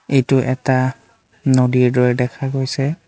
এইটো এটা নদীৰ দৰে দেখা গৈছে।